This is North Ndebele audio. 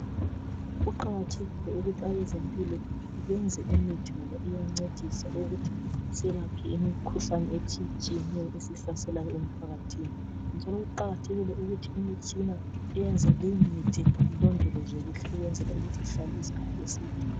Kuqakathekile ukuthi abezempilo benze imithi ngoba iyancedisa ukuthi iyelaphe imikhuhlane etshiyetshiyenyo esihlasela emphakathini njalo kuqakathekile ukuthi imitshina eyenza leyomithi ilondolozwe kuhle ukwenzela ukuthi ihlale isikhathi eside.